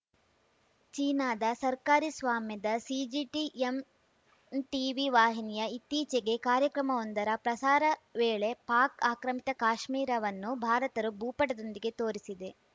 ಚೀನಾದ ಸರ್ಕಾರಿ ಸ್ವಾಮ್ಯದ ಸಿಜಿಟಿಎಮ್ ಟೀವಿ ವಾಹಿನಿಯ ಇತ್ತೀಚೆಗೆ ಕಾರ್ಯಕ್ರಮವೊಂದರ ಪ್ರಸಾರ ವೇಳೆ ಪಾಕ್‌ ಆಕ್ರಮಿತ ಕಾಶ್ಮೀರವನ್ನು ಭಾರತರ ಭೂಪಟದೊಂದಿಗೆ ತೋರಿಸಿದೆ